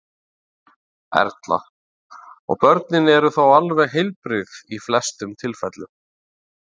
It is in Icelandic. Erla: Og börnin eru þá alveg heilbrigð í flestum tilfellum?